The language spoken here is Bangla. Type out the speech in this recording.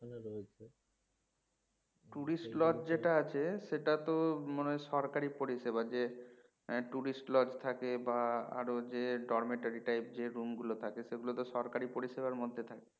tourist lodge যেটা আছে সেটা তো মনে হয় সরকারী পরিষেবা যে tourist lodge থাকে বা আরো যে dormitory type যে room গুলো থাকে সেগুলো সরকারী পরিষেবার মধ্যে থাকে